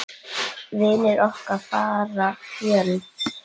Vinir okkar fara fjöld.